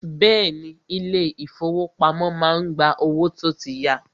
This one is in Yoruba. Bẹ́ẹ̀ni, ilé ìfọwọ́pamo má ń gba owó tó tí ya.